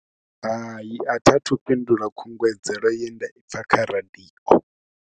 Hai a tha thu fhindula khungedzelo ye nda i pfha kha radio.